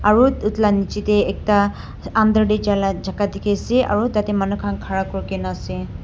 Aro etu la niji de ekta under de jaila jaga diki ase aro tate manu kan ghara kuri kina ase.